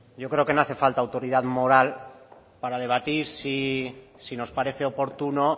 yo creo que no hace falta autoridad moral para debatir si nos parece oportuno